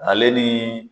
Ale ni